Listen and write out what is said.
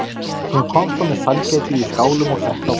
Hún kom svo með sælgætið í skálum og setti á borðið.